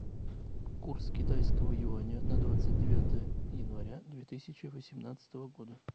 курс китайского юаня на двадцать девятое января две тысячи восемнадцатого года